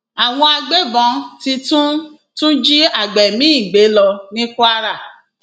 àwọn agbébọn ti tún tún jí àgbẹ míín gbé lọ ní kwara